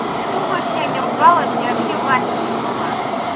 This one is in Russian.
ты думаешь я не ругалась я вообще в афиге была